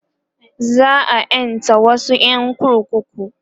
za'a ƴanta wasu ƴan kurkuku